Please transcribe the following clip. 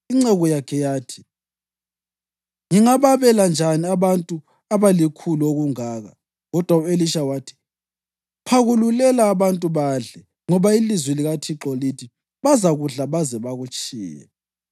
Inceku yakhe yathi, “Ngingababela njani abantu abalikhulu okungaka?” Kodwa u-Elisha wathi, “Phakululela abantu badle. Ngoba ilizwi likaThixo lithi: ‘Bazakudla baze bakutshiye.’ ”